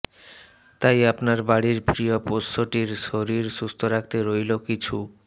তাই আপনার বাড়ির প্রিয় পোষ্যটির শরীর সুস্থ রাখতে রইল কিছু